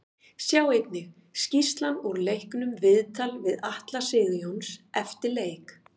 Sjá einnig: Skýrslan úr leiknum Viðtal við Atla Sigurjóns eftir leik